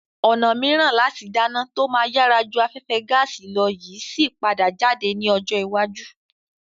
Ọ̀nà mìíràn láti dáná tó máa yàrá ju afẹ́fẹ́ gaàsì lọ yìí síí padà jáde ní ọjọ́ iwájú.